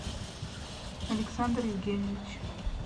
александр евгеньевич